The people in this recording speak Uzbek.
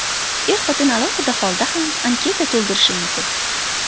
Er-xotin alohida holda ham anketa to‘ldirishi mumkin.